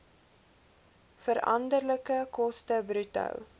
veranderlike koste bruto